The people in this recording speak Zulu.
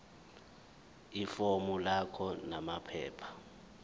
ifomu lakho namaphepha